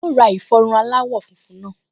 Yóò ra ìfọrun aláwọ̀ funfun náà